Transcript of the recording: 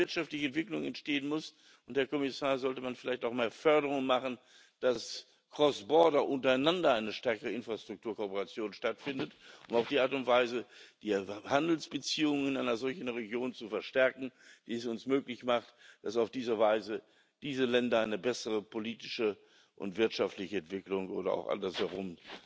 Wenn dort wirtschaftliche Entwicklung entstehen muss und, Herr Kommissar, da sollte man vielleicht auch mehr Förderung machen, dass cross border, untereinander eine stärkere Infrastrukturkooporation stattfindet, um auf die Art und Weise die Handelsbeziehungen einer solchen Region zu verstärken, die es uns möglich machen, dass auf diese Weise diese Länder eine bessere politische und wirtschaftliche Entwicklung oder auch andersherum